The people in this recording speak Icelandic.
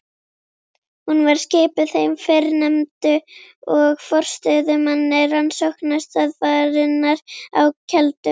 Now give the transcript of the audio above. Hún var skipuð þeim fyrrnefndu og forstöðumanni rannsóknastöðvarinnar á Keldum.